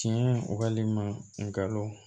Tiɲɛ walima ngalon